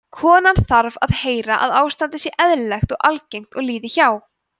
konan þarf að heyra að ástandið sé eðlilegt og algengt og líði hjá